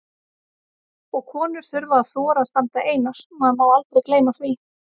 Og konur þurfa að þora að standa einar, maður má aldrei gleyma því!